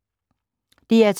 DR2